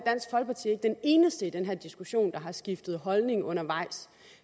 den eneste i den diskussion der har skiftet holdning undervejs